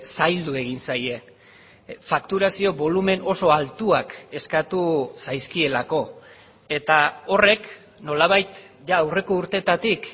zaildu egin zaie fakturazio bolumen oso altuak eskatu zaizkielako eta horrek nolabait jada aurreko urteetatik